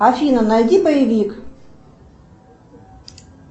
афина найди боевик